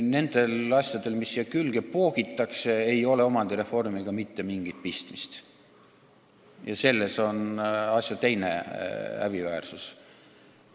Nendel asjadel, mis siia külge poogitakse, ei ole omandireformiga mitte mingit pistmist ja selles on asja teine häbiväärsus.